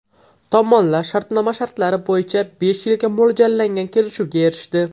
Tomonlar shartnoma shartlari bo‘yicha besh yilga mo‘ljallangan kelishuvga erishdi.